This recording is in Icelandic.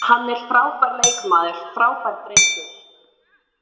Hann er frábær leikmaður, frábær drengur.